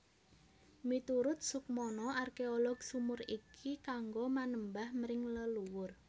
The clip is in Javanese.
Miturut Soekmono arkeolog sumur iki kanggo manembah mring leluwur